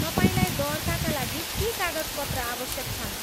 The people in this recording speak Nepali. तपाईँलाई दर्ताका लागि के कागजपत्र आवश्यक छन्?